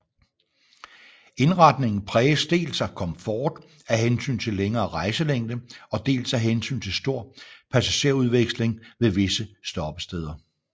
Indretningen præges dels af komfort af hensyn til længere rejselængde og dels af hensyn til stor passagerudveksling ved visse stoppesteder